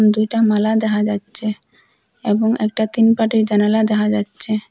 দুইটা মালা দেহা যাচ্চে এবং একটা তিন পাটির জানালা দেহা যাচ্চে ।